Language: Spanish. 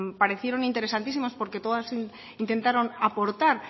parecieron interesantísimas porque todas intentaron aportar